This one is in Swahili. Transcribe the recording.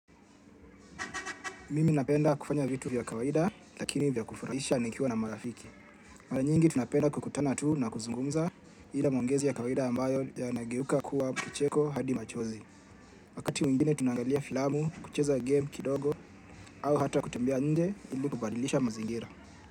Mimi napenda kufanya vitu vya kawaida lakini vya kufurahisha nikiwa na marafiki. Mara nyingi tunapenda kukutana tuu na kuzungumza ila maongezi ya kawaida ambayo yanageuka kuwa kicheko hadi machozi. Wakati mwingine tunangalia filamu, kucheza game kidogo au hata kutambea nje ili kubadilisha mazingira.